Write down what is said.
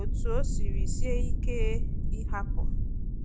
otú o siri sie ike ịhapụ.